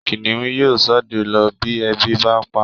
Kìnìún yóò ṣọdẹ lọ bí ebi bá pa á